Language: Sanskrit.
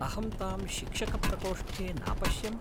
अहं तां शिक्षकप्रकोष्ठे नापश्यम्।